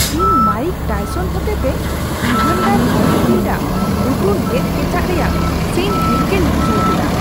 ᱤᱧ Mike Tyson ᱦᱚᱛᱮᱛᱮ Evander Holyfield ᱞᱟᱜ ᱞᱩᱛᱩᱨ ᱜᱮᱫ ᱠᱮᱪᱟᱜ ᱨᱮᱭᱟᱜ ᱥᱤᱱ ᱦᱤᱨᱠᱟᱹᱧ ᱵᱩᱡᱷᱟᱹᱣ ᱠᱮᱫᱟ ᱾